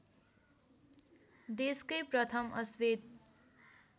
देशकै प्रथम अश्वेत